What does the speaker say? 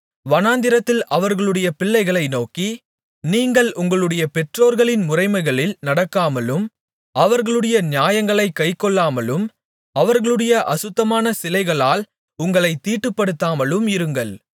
வனாந்திரத்தில் அவர்களுடைய பிள்ளைகளை நோக்கி நீங்கள் உங்களுடைய பெற்றோர்களின் முறைமைகளில் நடக்காமலும் அவர்களுடைய நியாயங்களைக் கைக்கொள்ளாமலும் அவர்களுடைய அசுத்தமான சிலைகளால் உங்களைத் தீட்டுப்படுத்தாமலும் இருங்கள்